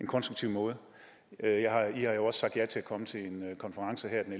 konstruktiv måde i har jo også sagt ja til at komme til en konference her den